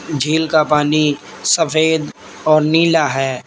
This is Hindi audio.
झील का पानी सफेद और नीला है।